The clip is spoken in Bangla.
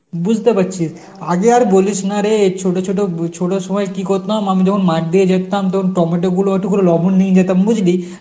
বুঝতে পারছি, আগে আর বলিস না রে ছোট ছোট উম ছোটর সময় কি করতাম আমি যখন মাঠ দিয়ে দেখতাম তোর টমেটো গুলো একটু করে লবণ নিয়ে যেতাম বুঝলি